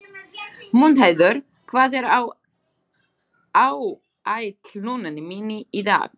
Mundheiður, hvað er á áætluninni minni í dag?